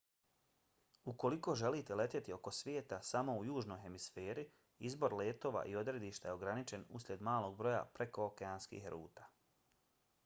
ukoliko želite letjeti oko svijeta samo u južnoj hemisferi izbor letova i odredišta je ograničen usljed malog broja prekookeanskih ruta